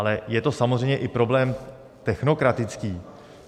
Ale je to samozřejmě i problém technokratický.